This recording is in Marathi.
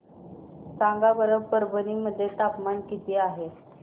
सांगा बरं परभणी मध्ये तापमान किती आहे